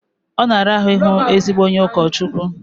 Ọ na-ara ahụ ịhụ ezigbo onye ụkọchukwu